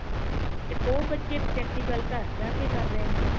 ਤੇ ਉਹ ਬੱਚੇ practical ਘ ਜਾ ਕੇ ਕਰ ਰਹੇ ਨੇ